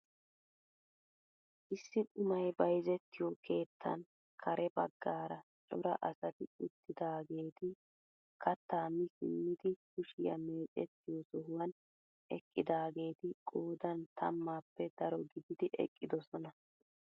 Issi qumay bayzettiyoo keettan kare baggaara cora asati uttidaageti kaattaa mi simmidi kushiyaa mecettiyoo sohuwaan eqqidaageti qoodan tammaappe daro gididi eqqidosona.